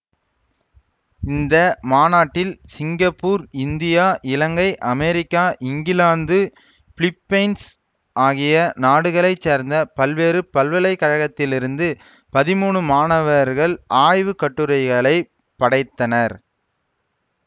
இந்த மாநாட்டில் Singapore India Ilangai America England Philippines ஆகிய நாடுகளை சேர்ந்த பல்வேறு பல்கலைக்கழகங்களிலிருந்து பதிமூனு மாணவர்கள் ஆய்வு கட்டுரைகளை படைத்தனர்